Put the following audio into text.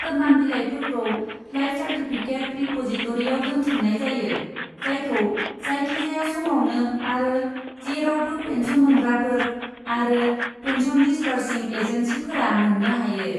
Foreman बिलाइफोरखौ life certificate रिप'जिटरिआव दोनथुमनाय जायो, जायखौ जायखिजाया समावनो आरो जेरावबो पेन्सन मोनग्राफोर आरो पेन्सन दिसबार्सिं एजेन्सिफोरा मोन्नो हायो।